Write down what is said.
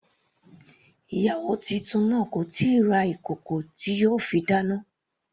Ìyàwó titun náà kò tíì ra ìkòkò tí yóò fi dáná.